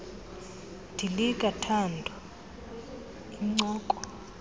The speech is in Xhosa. dilika thando incoko